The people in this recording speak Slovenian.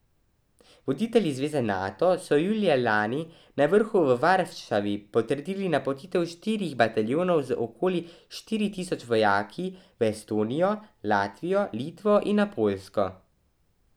Voditelji zveze Nato so julija lani na vrhu v Varšavi potrdili napotitev štirih bataljonov z okoli štiri tisoč vojaki v Estonijo, Latvijo, Litvo in na Poljsko.